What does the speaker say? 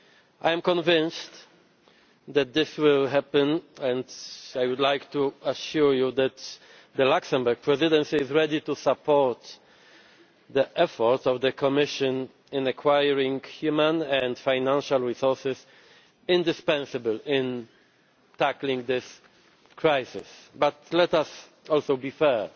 I am convinced that this will happen and I would like to assure you that the Luxembourg Presidency is ready to support the efforts of the Commission in acquiring human and financial resources indispensable to tackling this crisis. But let us also be fair.